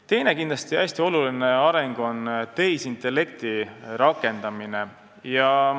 Teine hästi oluline areng on kindlasti tehisintellekti rakendamine.